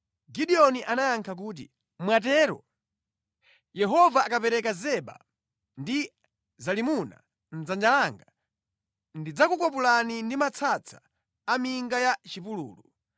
Gideoni anayankha kuti, “Mwatero! Yehova akapereka Zeba ndi Zalimuna mʼdzanja langa, ndidzakukwapulani ndi matsatsa a minga ya mʼchipululu.”